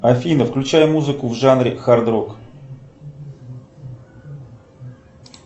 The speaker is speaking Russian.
афина включай музыку в жанре хард рок